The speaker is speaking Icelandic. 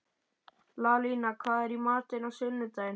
Lalíla, hvað er í matinn á sunnudaginn?